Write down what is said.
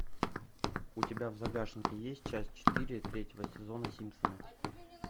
у тебя в загашнике есть часть четыре третьего сезона симпсоны